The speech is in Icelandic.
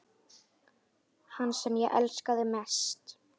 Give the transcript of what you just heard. Hann sem ég elskaði mest.